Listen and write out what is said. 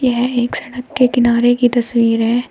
यह एक सड़क के किनारे की तस्वीर है।